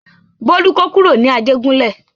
Bólú kó kúrò ní Ajégúnlẹ̀.